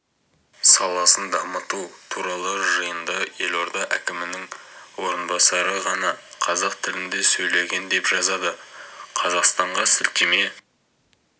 саласын дамыту туралы жиында елорда әкімінің орынбасары ғана қазақ тілінде сөйлеген деп жазады қазақстанға сілтеме